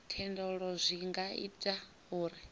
thendelo zwi nga ita uri